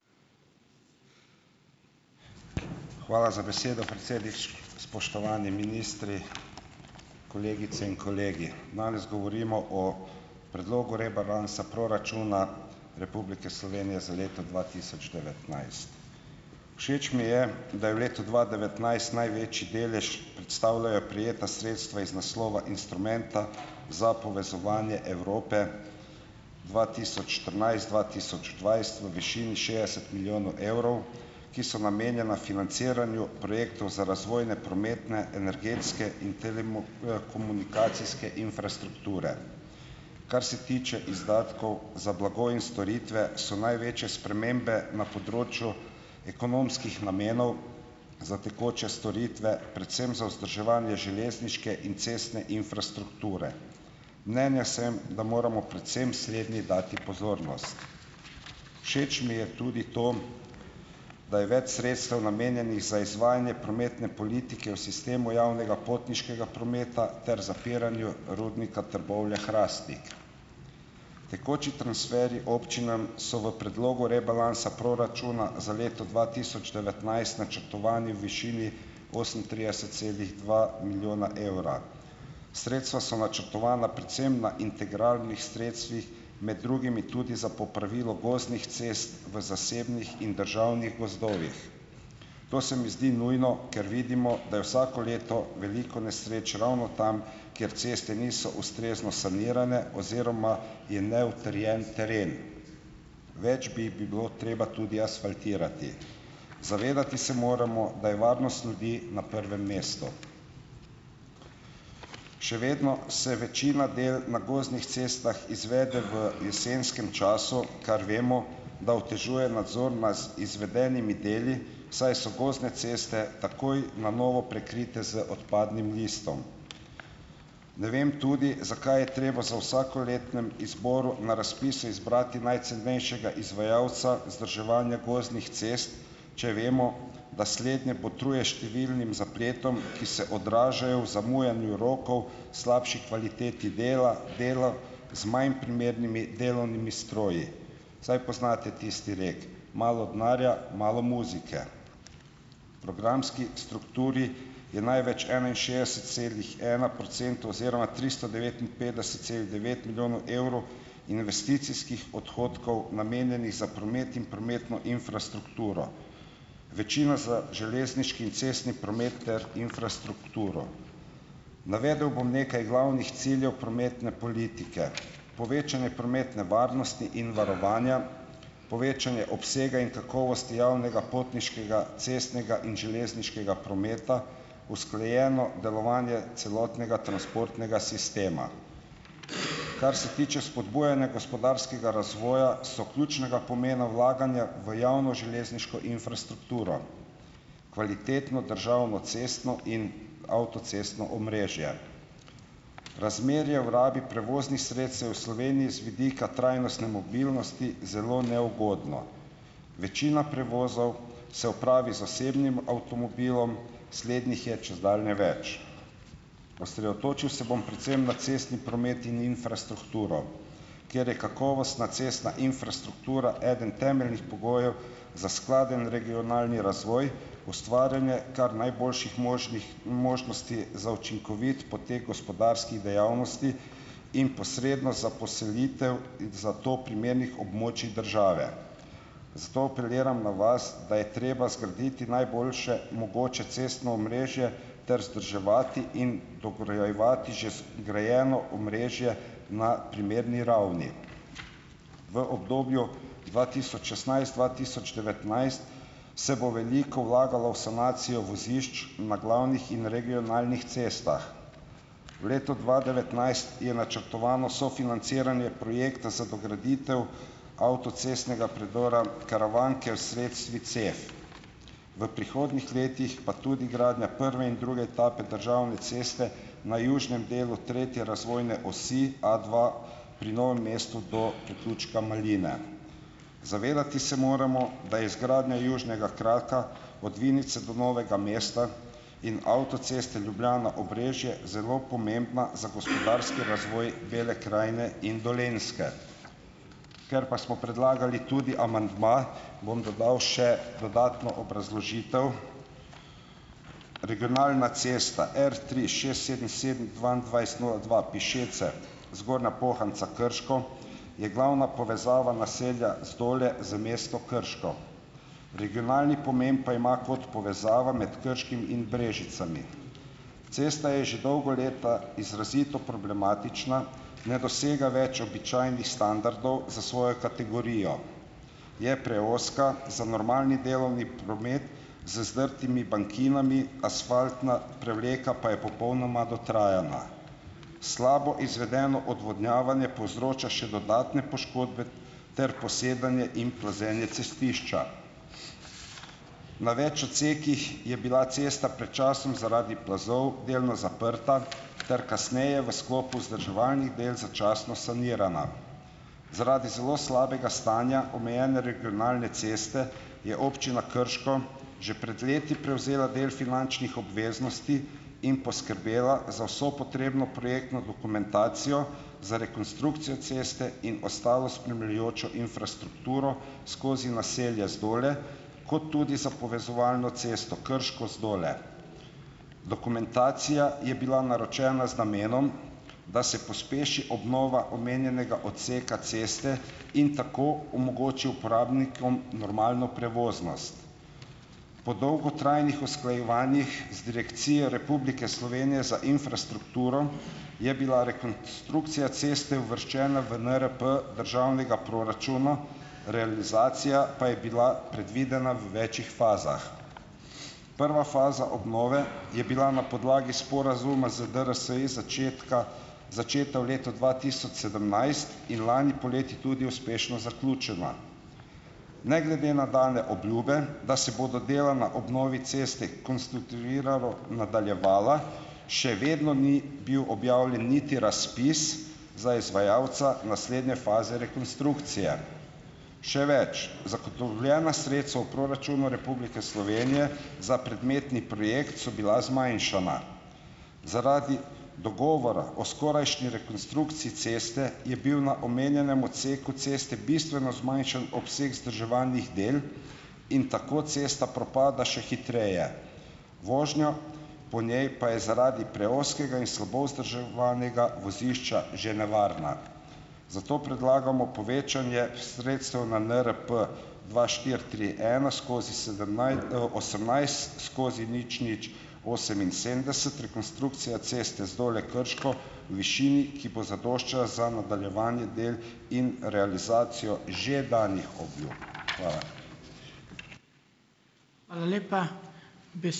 Hvala za besedo, predsednik. Spoštovani ministri, kolegice in kolegi! Danes govorimo o predlogu rebalansa proračuna Republike Slovenije za leto dva tisoč devetnajst. Všeč mi je, da je v letu dva devetnajst največji delež predstavljajo prejeta sredstva iz naslova instrumenta za povezovanje Evrope dva tisoč štirinajst-dva tisoč dvajset v višini šestdeset milijonov evrov, ki so namenjena financiranju projektov za razvojne prometne, energetske in komunikacijske infrastrukture. Kar se tiče izdatkov za blago in storitve, so največje spremembe na področju ekonomskih namenov za tekoče storitve, predvsem za vzdrževanje železniške in cestne infrastrukture. Mnenja sem, da moramo predvsem slednji dati pozornost. Všeč mi je tudi to, da je več sredstev namenjenih za izvajanje prometne politike v sistemu javnega potniškega prometa ter zapiranju Rudnika Trbovlje-Hrastnik. Tekoči transferji občinam so v predlogu rebalansa proračuna za leto dva tisoč devetnajst načrtovani v višini osemintrideset celih dva milijona evra. Sredstva so načrtovana predvsem na integralnih sredstvih, med drugimi tudi za popravilo gozdnih cest v zasebnih in državnih gozdovih. To se mi zdi nujno, ker vidimo, da je vsako leto veliko nesreč ravno tam, kjer ceste niso ustrezno sanirane oziroma je neutrjen teren. Več bi bilo treba tudi asfaltirati. Zavedati se moramo, da je varnost ljudi na prvem mestu. Še vedno se večina del na gozdnih cestah izvede v jesenskem času, kar vemo, da otežuje nadzor nas izvedenimi deli, saj so gozdne ceste takoj na novo prekrite z odpadnim listom. Ne vem tudi, zakaj je treba z vsakoletnim izborom na razpisu izbrati najcenejšega izvajalca vzdrževanja gozdnih cest, če vemo, da slednje botruje številnim zapletom, ki se odražajo v zamujanju rokov, slabši kvaliteti dela, dela z manj primernimi delovnimi stroji. Saj poznate tisti rek, malo denarja, malo muzike. Programski strukturi je največ enainšestdeset celih ena procentov oziroma tristo devetinpetdeset celih devet milijonov evrov investicijskih odhodkov, namenjenih za promet in prometno infrastrukturo, večino za železniški in cestni promet ter infrastrukturo. Navedel bom nekaj glavnih ciljev prometne politike: povečanje prometne varnosti in varovanja, povečanje obsega in kakovosti javnega potniškega cestnega in železniškega prometa, usklajeno delovanje celotnega transportnega sistema. Kar se tiče spodbujanja gospodarskega razvoja, so ključnega pomena vlaganja v javno železniško infrastrukturo, kvalitetno državno cestno in avtocestno omrežje. Razmerje v rabi prevoznih sredstev se v Sloveniji z vidika trajnostne mobilnosti zelo neugodno. Večina prevozov se opravi z osebnim avtomobilom, slednih je čedalje več. Osredotočil se bom predvsem na cestni promet in infrastrukturo, ker je kakovostna cestna infrastruktura eden temeljnih pogojev za skladen regionalni razvoj, ustvarjanje kar najboljših možnih možnosti za učinkovit potek gospodarskih dejavnosti in posredno za poselitev za to primernih območij države. Zato apeliram na vas, da je treba zgraditi najboljše mogoče cestno omrežje ter vzdrževati in dograjevati že zgrajeno omrežje na primerni ravni. V obdobju dva tisoč šestnajst-dva tisoč devetnajst se bo veliko vlagalo v sanacijo vozišč na glavnih in regionalnih cestah. V letu dva devetnajst je načrtovano sofinanciranje projekta za dograditev avtocestnega predora Karavanke s sredstvi CEF. V prihodnjih letih pa tudi gradnja prve in druge etape državne ceste na južnem delu tretje razvojne osi A dva pri Novem mestu do priključka Maline. Zavedati se moramo, da izgradnja južnega kraka od Vinice do Novega mesta in avtoceste Ljubljana-Obrežje zelo pomembna za gospodarski razvoj Bele krajine in Dolenjske. Ker pa smo predlagali tudi amandma, bom dodal še dodatno obrazložitev. Regionalna cesta R tri šest sedem sedem dvaindvajset nula dva Pišece- Zgornja Pohanca-Krško je glavna povezava naselja Zdole z Krško. Regionalni pomen pa ima kot povezava med Krškim in Brežicami. Cesta je že dolga leta izrazito problematična, ne dosega več običajnih standardov za svojo kategorijo, je preozka za normalni delovni promet, z zdrtimi bankinami, asfaltna prevleka pa je popolnoma dotrajana. Slabo izvedeno odvodnjavanje povzroča še dodatne poškodbe ter posedanje in plazenje cestišča. Na več odsekih je bila cesta pred časom zaradi plazov delno zaprta ter kasneje v sklopu vzdrževalnih del začasno sanirana. Zaradi zelo slabega stanja omejene regionalne ceste je Občina Krško že pred leti prevzela del finančnih obveznosti in poskrbela za vso potrebno projektno dokumentacijo za rekonstrukcijo ceste in ostalo spremljajočo infrastrukturo skozi naselja Zdole kot tudi za povezovalno cesto Krško-Zdole. Dokumentacija je bila naročena z namenom, da se pospeši obnova omenjenega odseka ceste in tako omogoči uporabnikom normalno prevoznost. Po dolgotrajnih usklajevanjih z Direkcijo Republike Slovenije za infrastrukturo je bila rekonstrukcija ceste uvrščena v NRP državnega proračuna, realizacija pa je bila predvidena v večih fazah. Prva faza obnove je bila na podlagi sporazuma z DRSI začetka začeta v letu dva tisoč sedemnajst in lani poleti tudi uspešno zaključena. Ne glede na dane obljube, da se bodo dela na obnovi ceste kontinuirano nadaljevala, še vedno ni bil objavljeno niti razpis za izvajalca naslednje faze rekonstrukcije. Še več, zagotovljena sredstva v proračunu Republike Slovenije za predmetni projekt so bila zmanjšana. Zaradi dogovora o skorajšnji rekonstrukciji ceste je bil na omenjenem odseku ceste bistveno zmanjšan obseg vzdrževalnih del in tako cesta propada še hitreje, vožnja po njej pa je zaradi preozkega in slabo vzdrževanega vozišča že nevarna. Zato predlagamo povečanje sredstev na NRP dva štiri tri ena skozi osemnajst skozi nič nič oseminsedemdeset, rekonstrukcija ceste Zdole-Krško v višini, ki bo zadoščala za nadaljevanje del in realizacijo že danih obljub. Hvala. Hvala lepa. ...